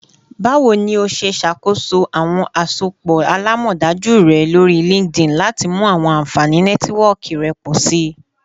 Bawo ni o ṣe ṣakoso awọn asopọ alamọdaju rẹ lori LinkedIn lati mu awọn anfani Nẹtiwọọki rẹ pọ si?